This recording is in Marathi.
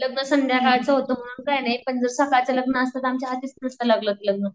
लग्न संध्याकाळचं होत म्हणून काही नाही पण जर सकाळचं लग्न असत तर आमच्या होतीच नसत लागलं ते लग्न.